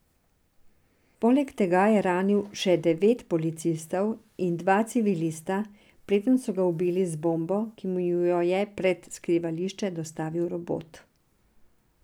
Poleg tega je ranil še devet policistov in dva civilista, preden so ga ubili z bombo, ki mu jo je pred skrivališče dostavil robot.